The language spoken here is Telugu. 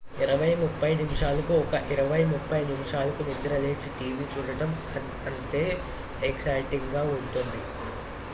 ఇరవై ముప్పై నిమిషాలకు ఒక ఇరవై ముప్పై నిమిషాలకు నిద్రలేచి టీవీ చూడటం అంతే ఎగ్జైటింగ్ గా ఉంటుంది